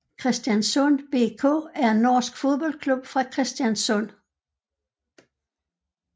Kristiansund BK er en norsk fodboldklub fra Kristiansund